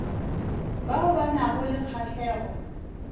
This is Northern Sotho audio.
bao ba nago le kgahlego